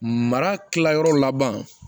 Mara tilayɔrɔ laban